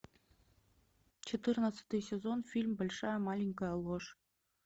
четырнадцатый сезон фильм большая маленькая ложь